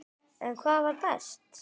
En hvað var best?